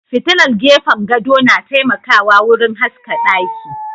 Fitilar gefen gado na taimakawa wurin haska ɗaki.